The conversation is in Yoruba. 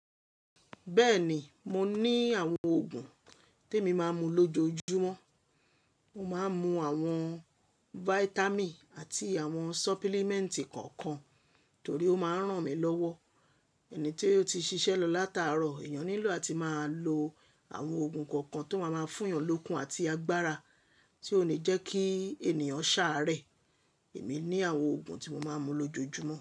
Bẹ́ẹ̀ ni, mo ní àwọn òògùn tí èmi máa ń mu lójoojúmọ́. Mo máa ń mu àwọn vitamin àti àwọn supplement kọ̀ọ̀kan torí ó máa ń ràn mí lọ́wọ́. Ẹni tó ti ṣiṣẹ́ lọ látaárọ̀, èèyàn nílò àti máa lo àwọn ògùn kọ̀ọ̀kan tó máa máa fún èèyàn lókun àti agbára tí ó ní jẹ́ kí ènìyàn ṣààrẹ. Èmi ní àwọn òògùn tí mo máa ń mu lójoojúmọ́